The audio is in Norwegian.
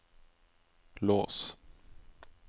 lås